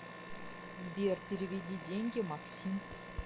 сбер переведи деньги максим